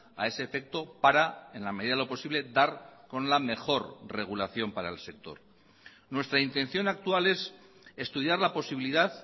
a ese efecto para en la medida de lo posible dar con la mejor regulación para el sector nuestra intención actual es estudiar la posibilidad